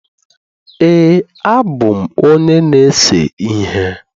Ee, abụ m onye na-ese ihe